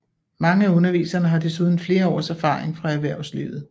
Mange af underviserne har desuden flere års erfaring fra erhvervslivet